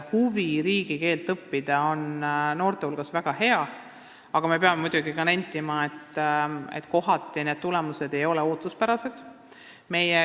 Huvi riigikeelt õppida on noorte hulgas väga arvestatav, aga me peame muidugi nentima, et kohati ei ole keeleõppe tulemused olnud ootuspärased.